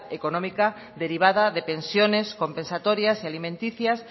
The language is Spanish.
económica derivada de pensiones compensatorias y alimenticias